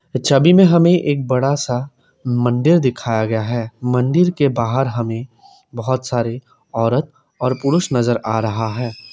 इस छबि में हमें एक बड़ा सा मंदिर दिखाया गया है मंदिर के बाहर हमें बहुत सारे औरत और पुरुष नजर आ रहा है।